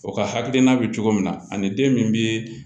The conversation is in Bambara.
O ka hakilina bɛ cogo min na ani den min bɛ